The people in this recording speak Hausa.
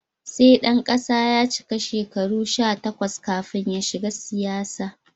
Sai ɗan kasa ya cika shekaru sha takwas kafin ya shiga siyasa.